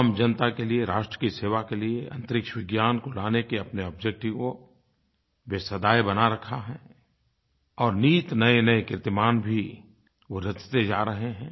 आम जनता के लिये राष्ट्र की सेवा के लिये अन्तरिक्ष विज्ञान को लाने के अपने ऑब्जेक्टिव को वे सदैव बनाये रखा है और नित नयेनये कीर्तिमान भी वो रचते जा रहे हैं